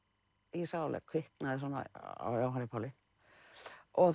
ég sá alveg að kviknaði svona á Jóhanni Páli og